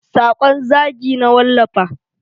Sakon zagi na wallafa.